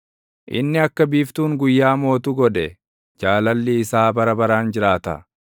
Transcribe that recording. inni akka biiftuun guyyaa mootu godhe; Jaalalli isaa bara baraan jiraata.